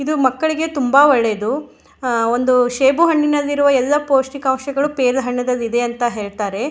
ಇದು ಮಕ್ಕಳಿಗೆ ತುಂಬ ಒಳ್ಳೇದು ಆಂ ಒಂದು ಶೇಬು ಹಣ್ಣಿನಲ್ಲಿ ಇರುವ ಎಲ್ಲ ಪೋಷ್ಟಿಕಾಂಶಗಳು ಪೇಲ ಹಣ್ಣಲ್ಲಿ ಇದೆ ಅಂತ ಹೇಳ್ತಾರೆ.